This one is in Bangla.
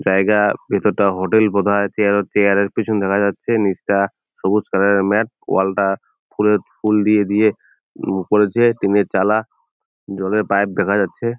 জায়গা ভিতরটা হোটেল বোধ হয় চেয়ার ও চেয়ার -র পেছন দাঁড়িয়ে যাচ্ছে নিচটা সবুজ কালার -এর ম্যাট ওয়াল -টা ফুলের ফুল দিয়ে দিয়ে উম- করেছে টিনের চালা জলের পাইপ দেখা যাচ্ছে।